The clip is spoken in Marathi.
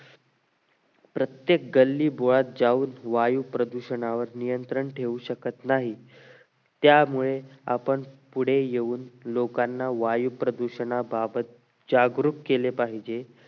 प्रत्येक गल्ली बोळात जाऊन वायू प्रदूषणावर नियंत्रण ठेवू शकत नाही त्यामुळे आपण पुढे येऊन लोकांना वायू प्रदूषणाबाबत जागरूक केले पाहिजे